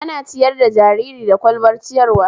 Ana ciyar da jariri da ƙwalbar ciyarwa